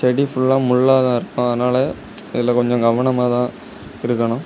செடி புல்லா முல்லாதா இருக்கு அதனால இதுல கொஞ்ச கவனமாதா இருக்கணு.